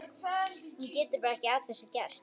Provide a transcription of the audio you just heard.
Hún getur bara ekki að þessu gert.